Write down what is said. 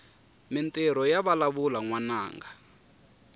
mintirho yavalavula nwananga